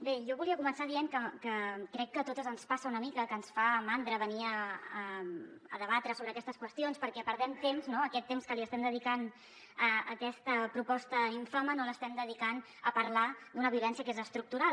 bé jo volia començar dient que crec que a totes ens passa una mica que ens fa mandra venir a debatre sobre aquestes qüestions perquè perdem temps no aquest temps que li estem dedicant a aquesta proposta infame no l’estem dedicant a parlar d’una violència que és estructural